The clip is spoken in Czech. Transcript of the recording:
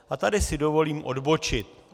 A tady si dovolím odbočit.